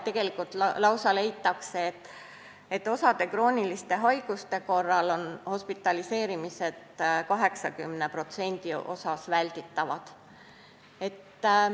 Tegelikult leitakse, et osa krooniliste haiguste korral on hospitaliseerimised 80% juhtudel välditavad.